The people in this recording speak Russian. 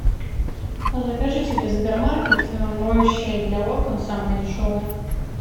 закажи через сбермаркет моющее для окон самое дешевое